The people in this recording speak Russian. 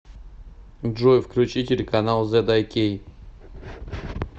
джой включи телеканал зэд ай кей